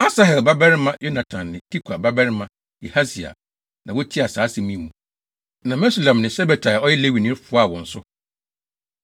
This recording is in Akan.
Asahel babarima Yonatan ne Tikwa babarima Yahasia na wotiaa saa asɛm yi mu, na Mesulam ne Sabetai a ɔyɛ Lewini no foaa wɔn so.